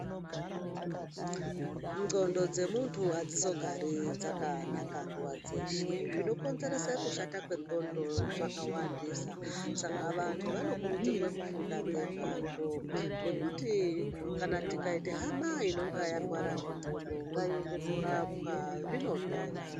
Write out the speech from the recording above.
Ndxondo dzemuntu hadzizogari dzakanaka nguva dzeshe. Zvinokonzerese kushata kwendxondo zvakawandisa, saka vantu vanokurudzirwe kufunda ngezvazvo. Nekuti kana tikaite hama inonga yarwara ngendxondo, ngaiende korapwa, zvinopera.